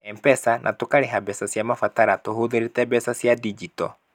M-Pesa, na tũkarĩha mbeca cia mabatara tũhũthĩrĩte mbeca cia digital.